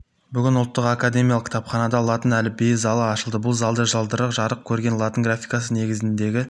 бүгін ұлттық академиялық кітапханада латын әліпбиі залы ашылды бұл залда жылдары жарық көрген латын графикасы негізіндегі